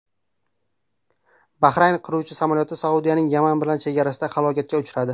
Bahrayn qiruvchi samolyoti Saudiyaning Yaman bilan chegarasida halokatga uchradi.